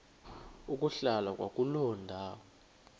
ukuhlala kwakuloo ndawo